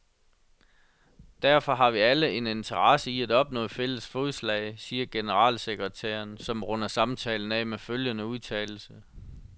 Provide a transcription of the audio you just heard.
Derfor har vi alle en interesse i at opnå fælles fodslag, siger generalsekretæren, som runder samtalen af med følgende udtalelse.